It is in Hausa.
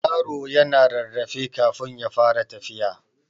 Yaro yana rarrafe kafun ya fara tafiya.